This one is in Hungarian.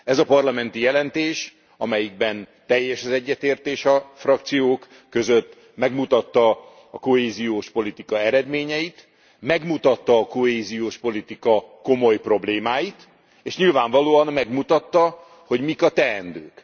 Ez a parlamenti jelentés, amelyben teljes az egyetértés a frakciók között, megmutatta a kohéziós politika eredményeit, megmutatta a kohéziós politika komoly problémáit, és nyilvánvalóan megmutatta, hogy mik a teendők.